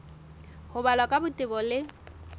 ho balwa ka botebo le